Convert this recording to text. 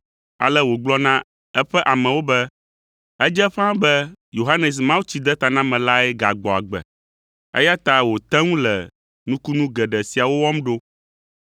ale wògblɔ na eƒe amewo be, “Edze ƒãa be Yohanes Mawutsidetanamelae gagbɔ agbe, eya ta wòte ŋu le nukunu geɖe siawo wɔm ɖo.”